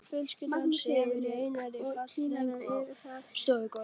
Öll fjölskyldan sefur í einni flatsæng á stofugólfinu.